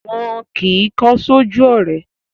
Wọn kì í kọ́ sójú ọ̀rẹ́